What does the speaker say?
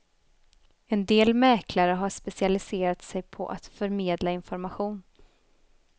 En del mäklare har specialiserat sig på att förmedla information.